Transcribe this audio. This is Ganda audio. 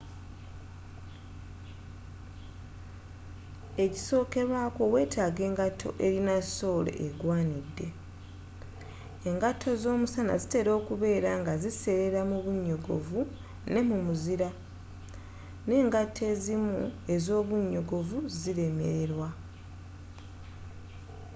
ekisookerwaako wetaaga engato elina soole egwaanidde engato z'omusana zitela okubeela nga ziseelela mu bunyogovu ne mu muzira n'engato ezimu ez'obunyogovu zilemelelwa